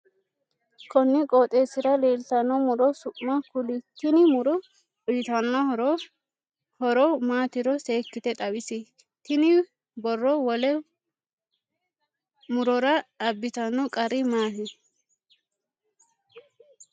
Konni qooxeesira leltano muro su'ma kuli? Tinni muro uyitano horo horo maatiro seekite xawisi? Tinni boro wole murora abitano qari maati?